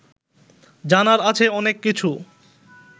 জানার আছে অনেক কিছু